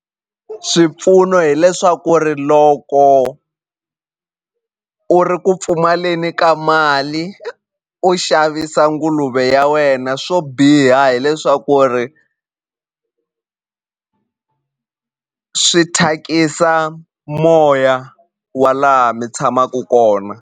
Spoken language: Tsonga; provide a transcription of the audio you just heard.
Swipfuno hileswaku ri loko u ri ku pfumaleni ka mali u xavisa nguluve ya wena swo biha hileswaku ri swi thyakisa moya wa laha mi tshamaku kona.